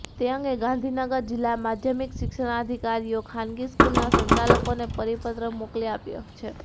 તે અંગે ગાંધીનગર જિલ્લા માધ્યમિક શિક્ષણાધિકારીએ ખાનગી સ્કૂલના સંચાલકોને પરિપત્ર મોકલી આપ્યો છે